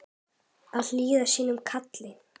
Að hlýða sínu kalli